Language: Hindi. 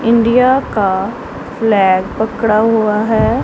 इंडिया का लै पकड़ा हुआ है।